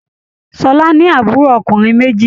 Ṣọlá ní àbúrò ọkùnrin méjì.